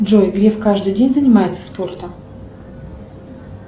джой греф каждый день занимается спортом